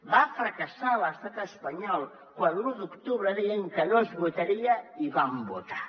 va fracassar l’estat espanyol quan l’un d’octubre deien que no es votaria i vam votar